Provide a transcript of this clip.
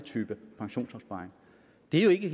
det ikke